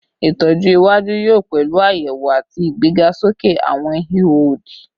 Itọju iwaju yoo pẹlu ayewo ati igbegasoke awọn iho odi